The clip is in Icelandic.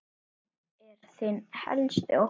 Hver er þinn helsti ótti?